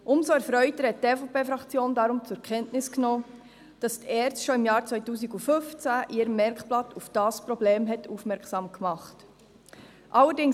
Umso erfreuter hat die EVP-Fraktion deswegen zur Kenntnis genommen, dass die ERZ bereits im Jahr 2015 in ihrem Merkblatt auf dieses Problem aufmerksam gemacht hat.